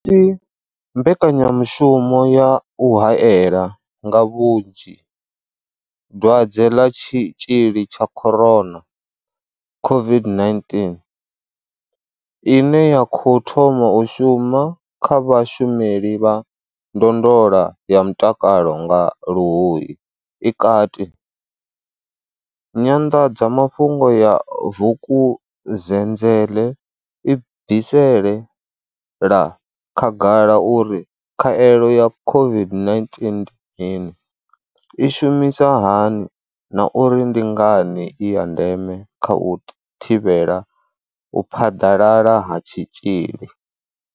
Si mbekanyamu shumo ya u haela nga vhunzhi dwadze ḽa tshitzhili tsha corona, COVID-19, ine ya khou thoma u shuma kha vhashumeli vha ndondolo ya mutakalo nga Luhuhi i kati, nyanḓadzamafhungo ya Vukuzenzele i bvisela khagala uri khaelo ya COVID-19 ndi mini, i shumisa hani na uri ndi ngani i ya ndeme kha u thivhela u phaḓalala ha tshitzhili.